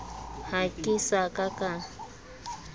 ha ke sa ka ka